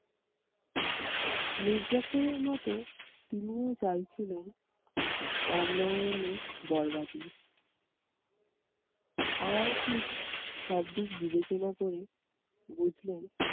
মীরজাফরের মতো তিনি চাইছিলেন রামনারায়ানের বর্বাদই। আরার কুট সবদিক বিবেচনা করে বুঝলেন,